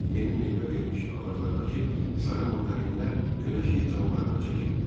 Yeni meyvə vermiş ağaclardakı sarı mandarinlər günəşi canlarına çəkirdilər.